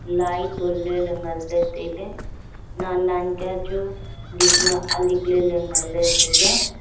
lai ton ley le ngan le tai ley nen nen ke chu lik ma alik ley le ngan ley tailey.